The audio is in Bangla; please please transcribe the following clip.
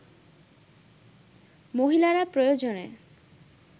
মহিলারা প্রয়োজনে